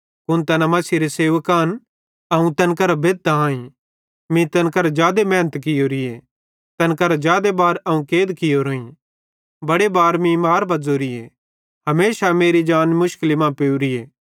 कुन तैना मसीहेरे सेवक आन अवं पागलेरो ज़ेरो ज़ोताईं अवं तैन करां बेद्धतां आईं मीं तैन करां जादे मेहनत कियोरीए तैन करां जादे बार अवं कैद कियोरोईं बड़े बार मीं मार बज़ोरीए हमेशा मेरी जान मुश्किली मां पेवरीए